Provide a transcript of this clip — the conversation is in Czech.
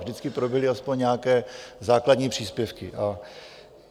Vždycky proběhly aspoň nějaké základní příspěvky.